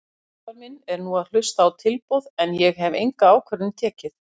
Umboðsmaður minn er nú að hlusta á tilboð en ég hef enga ákvörðun tekið.